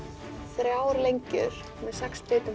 þrjár lengjur með sex bitum